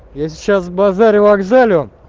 я сейчас базарю-вокзалю